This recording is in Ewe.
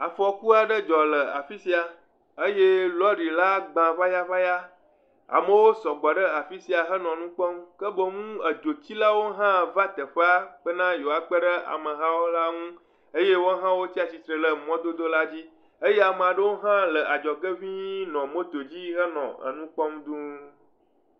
Afɔkua ɖe dzɔ le afi sia eye lɔri la gba ŋayaŋaya, amewo sɔgbɔ ɖe afi sia henɔ nu kpɔm ke boŋ edzotsilawo hã va teƒea bena yewoakpe ɖe amehawo la ŋu eye woawo hã wotsa tsitre ɖe mɔdodo la dzi, eye ama ɖewo hã le adzɔge ŋĩi le moto dzi henɔ enu kpɔm duu.